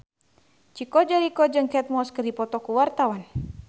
Chico Jericho jeung Kate Moss keur dipoto ku wartawan